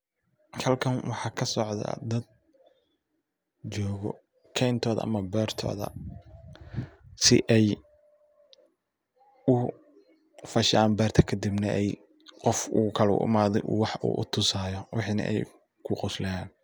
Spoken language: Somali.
Halkan waxaa kasocda dad joogo keentoda ama beertooda si ay u fashan beerta kadibna ay u qof kale u imaaday wax u tasayo waxina ay ku qoslayan.